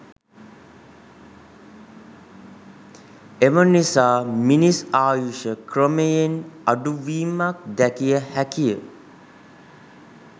එම නිසා මිනිස් ආයුෂ ක්‍රමයෙන් අඩුවීමක් දැකිය හැකිය